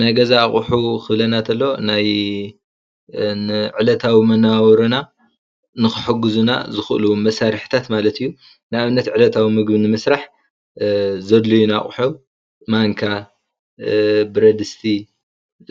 ናይ ገዛ ኣቑሑ ክብለና ተሎ ናይ ን ዕለታዊ መነባብሮና ን ክሕግዙና ዝኽእሉ መሳርሕታት ማለት አዩ። ን ኣብነት ዕለታዊ ምግቢ ንምስራሕ ዘድልዩና ኣቑሑ ማንካ፣ ብረድስቲ